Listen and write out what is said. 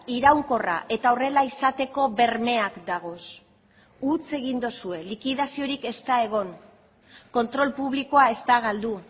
iraunkorra eta horrela izateko bermeak dagoz huts egin duzue likidaziorik ez da egon kontrol publikoa ez da galdu